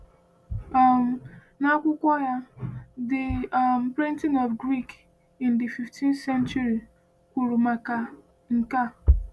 um N’akwụkwọ ya The um Printing of Greek in the Fifteenth Century, R… kwuru maka nke a.